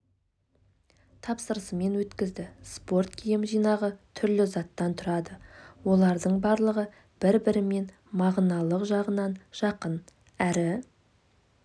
тапсырысымен өткізді спорт киім жинағы түрлі заттан тұрады олардың барлығы бір-бірімен мағыналық жағынан жақын әрі